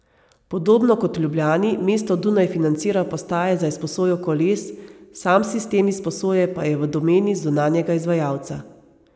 Podobno kot v Ljubljani mesto Dunaj financira postaje za izposojo koles, sam sistem izposoje pa je v domeni zunanjega izvajalca.